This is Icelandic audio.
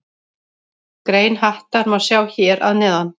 Grein Hattar má sjá hér að neðan.